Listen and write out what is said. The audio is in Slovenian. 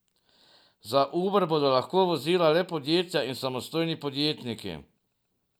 Za Uber bodo lahko vozila le podjetja in samostojni podjetniki.